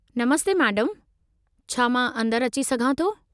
नमस्ते मैडमु, छा मां अंदरि अची सघां थो?